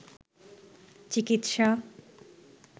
চিকিৎসা